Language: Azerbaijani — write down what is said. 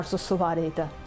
Arzusu var idi.